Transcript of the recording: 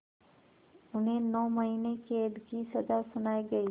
उन्हें नौ महीने क़ैद की सज़ा सुनाई गई